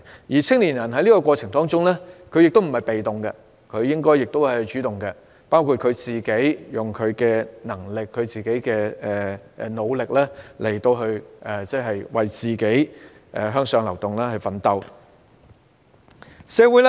不過，青年人在這過程中也不是被動的，他們應該採取主動，包括利用自己的能力和努力，為向上流動而奮鬥。